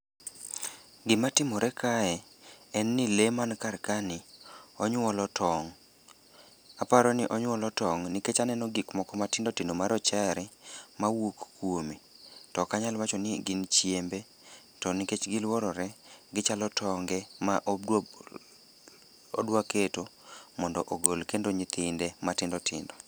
Gimatimore kae en ni lee man karkani onyuolo tong'. Aparo ni onyuolo tong' nikech aneno gikmoko matindotindo marochare mawuok kuome to okanyal wacho ni gin chiembe to nikech giluorore gichalo tonge ma odwaketo mondo ogol kendo nyithinde matindotindo.